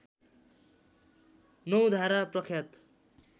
नौ धारा प्रख्यात